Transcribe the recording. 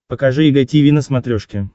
покажи эг тиви на смотрешке